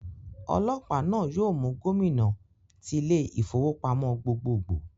Ọlọ́pàá náà yóò mú Gómìnà tí ilé ìfowópamọ́ gbogbogbò